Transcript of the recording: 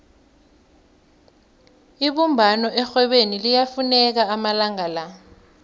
ibumbano erhwebeni liyafuneka amalanga la